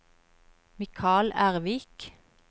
Mikal Ervik